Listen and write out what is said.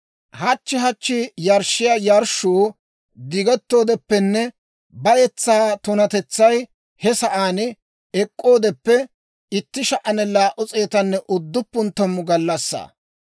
«Hachchi hachchi yarshshiyaa yarshshuu diggettoodeppenne bayetsaa tunatetsay he sa'aan ek'k'oodeppe 1,290 gallassaa.